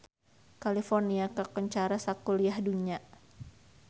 California kakoncara sakuliah dunya